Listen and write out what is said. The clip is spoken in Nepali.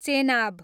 चेनाब